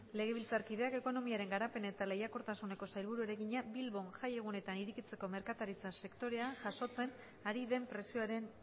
legebiltzarkideak ekonomiaren garapen eta lehiakortasuneko sailburuari egina bilbon jai egunetan irekitzeko merkataritza sektorea jasotzen ari den presioaren